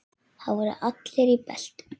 Þar voru allir í beltum.